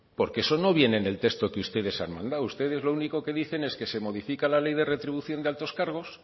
porque eso no viene en el texto que ustedes han mandado ustedes lo único que dicen es que se modifica la ley de retribución de altos cargos